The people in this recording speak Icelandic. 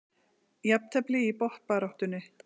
Jafntefli í botnbaráttunni